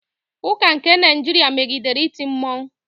Ụka nke Naịjirịa megidere iti mmọnwụ.